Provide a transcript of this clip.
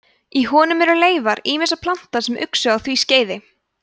í honum eru leifar ýmissa plantna sem uxu á því skeiði